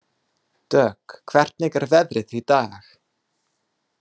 Dögg, hvernig er veðrið í dag?